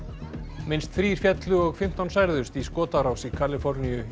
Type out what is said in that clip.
minnst þrír féllu og fimmtán særðust í skotárás í Kaliforníu í